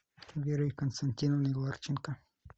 верой константиновной ларченко